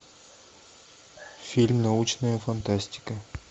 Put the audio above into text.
фильм научная фантастика